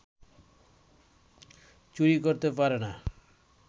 চুরি করতে পারে না